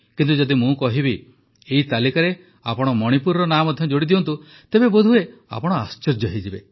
କିନ୍ତୁ ଯଦି ମୁଁ କହିବି ଯେ ଏଇ ତାଲିକାରେ ଆପଣ ମଣିପୁରର ନାଁ ମଧ୍ୟ ଯୋଡ଼ିଦିଅନ୍ତୁ ତେବେ ବୋଧହୁଏ ଆପଣ ଆଶ୍ଚର୍ଯ୍ୟ ହୋଇଯିବେ